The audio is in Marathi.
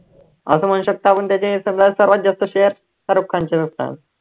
असं म्हणु शकतो, आपण त्याचे सगळ्यात सर्वात जास्त शाहरुख खानचेच असतात.